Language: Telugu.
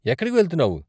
ఎక్కడికి వెళ్తున్నావు?